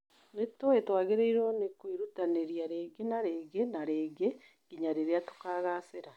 Nĩtũĩ twagĩrĩiwo kwĩrutanĩria rĩngĩ na rĩngĩ na rĩngĩ nginya rĩrĩa tukagacĩra.